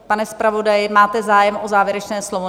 Pane zpravodaji, máte zájem o závěrečné slovo?